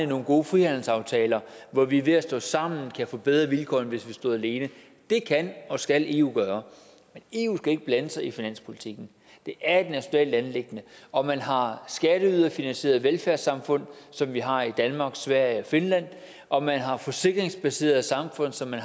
nogle gode frihandelsaftaler hvor vi ved at stå sammen kan få bedre vilkår end hvis vi stod alene det kan og skal eu gøre men eu skal ikke blande sig i finanspolitikken det er et nationalt anliggende om man har skatteyderfinansierede velfærdssamfund som vi har i danmark sverige og finland om man har forsikringsbaserede samfund som man